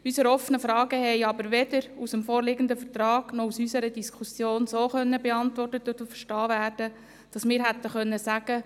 Unsere offenen Fragen konnten aber weder mit dem vorliegenden Vortrag noch durch unsere Diskussion dahingehend beantwortet und verstanden werden, dass wir hätten sagen können: